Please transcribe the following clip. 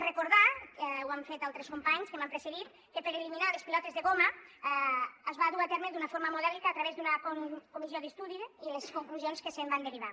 recordar ho han fet altres companys que m’han precedit que per eliminar les pilotes de goma es va dur a terme d’una forma modèlica a través d’una comissió d’estudi i les conclusions que se’n van derivar